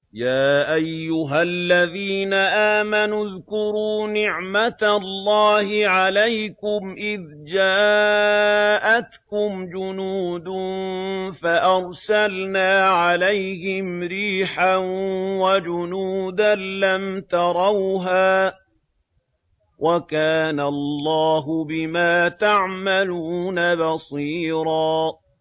يَا أَيُّهَا الَّذِينَ آمَنُوا اذْكُرُوا نِعْمَةَ اللَّهِ عَلَيْكُمْ إِذْ جَاءَتْكُمْ جُنُودٌ فَأَرْسَلْنَا عَلَيْهِمْ رِيحًا وَجُنُودًا لَّمْ تَرَوْهَا ۚ وَكَانَ اللَّهُ بِمَا تَعْمَلُونَ بَصِيرًا